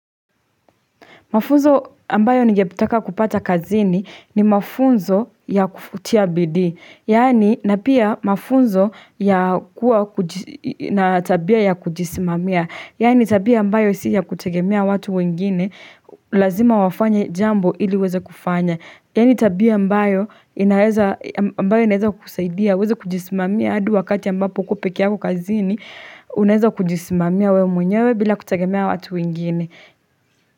Mafunzo ambayo ningetaka kupata kazini ni mafunzo ya kutia bidii. Yaani na pia mafunzo ya kuwa na tabia ya kujisimamia. Yaani tabia ambayo si ya kutegemea watu wengine, lazima wafanye jambo ili uweze kufanya. Yaani tabia ambayo inaweza, ambayo inaweza kusaidia uweze kujisimamia hadi wakati ambapo uko peke yako kazini unaweza kujisimamia wewe mwenyewe bila kutegemea watu wengine.